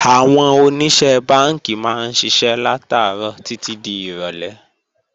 Àwọn Oníṣẹ́ Bánkì máa ń ṣiṣẹ́ látàárọ̀ títí di ìrọ̀lé